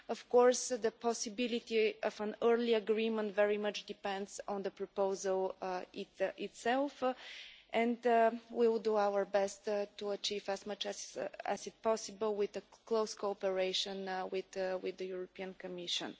Of course, the possibility of an early agreement very much depends on the proposal itself and we will do our best to achieve as much as possible, with the close cooperation of the European Commission.